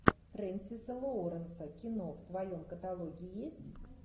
фрэнсиса лоуренса кино в твоем каталоге есть